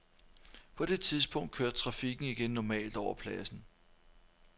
På det tidspunkt kørte trafikken igen normalt over pladsen.